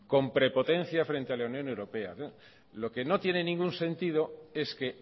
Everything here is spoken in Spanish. con prepotencia frente a la unión europea lo que no tiene ningún sentido es que